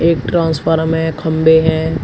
एक ट्रांसफॉर्म है खंभे हैं।